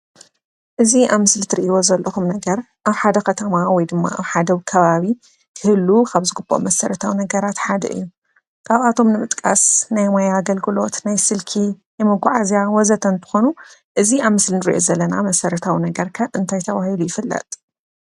እዚ አብ ምስሊ እትሪኢዎ ዘለኩም ነገር አብ ሓደ ከተማ ወይ ድማ አብ ሓደ ከባቢ ዘሎ ካብ ዝግበኦም መሰረታዊ ነገራት ሓደ እዩ፡፡ ካብአቶም ንምጥቃስ ናይ ሞያ አገልግሎት፣ ናይ ስልኪ፣ ናይ መጓዓዝያ ወዘተ እንትኾኑ፤ እዚ አብ ምሰሊ እንሪኦ ዘለና መሰረታዊ ነገር ኸ እንታይ ተባሂሉ ይፍለጥ?